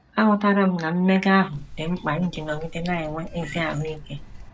Aghọtara m na mmega ahụ dị mkpa iji nọgide na - enwe ezi ahụ ike.